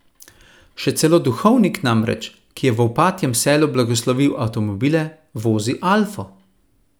Še celo duhovnik namreč, ki je v Opatjem selu blagoslovil avtomobile, vozi alfo.